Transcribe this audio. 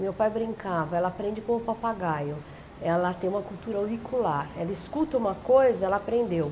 meu pai brincava, ela aprende com o papagaio, ela tem uma cultura auricular, ela escuta uma coisa, ela aprendeu.